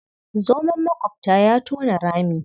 Zoman maƙwabta ya tona rami.